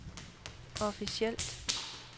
officielt